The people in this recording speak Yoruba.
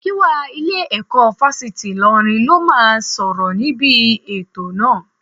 Gíwá ilé-ẹ̀kọ́ Fásitì Ìlọrin ló máa sọ̀rọ̀ níbi ètò náà